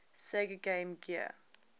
sega game gear